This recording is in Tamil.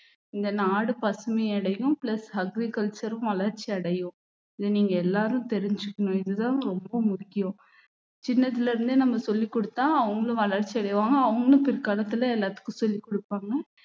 இந்த நாடு பசுமை அடையும் plus agriculture உம் வளர்ச்சி அடையும் இதை நீங்க எல்லாரும் தெரிஞ்சுக்கணும் இதுதான் ரொம்ப முக்கியம் சின்னதுல இருந்தே நம்ம சொல்லிக் கொடுத்தா அவங்களும் வளர்ச்சி அடைவாங்க அவங்களும் பிற்காலத்துல எல்லாத்துக்கும் சொல்லிக் கொடுப்பாங்க